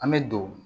An bɛ don